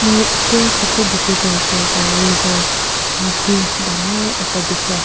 Moi eteh photo dekhe toh hoishe koile toh river naudi dangor ekta dekhi as--